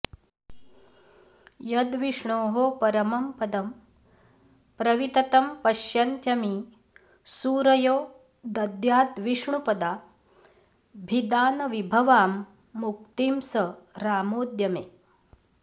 यद्विष्णोः परमं पदं प्रविततं पश्यन्त्यमी सूरयो दद्याद्विष्णुपदाभिधानविभवां मुक्तिं स रामोऽद्य मे